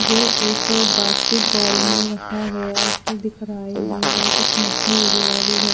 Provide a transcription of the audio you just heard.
जो एक basket ball में रखा गया ऐसा दिख रहा है और कुछ मटकी वगेरा भी है।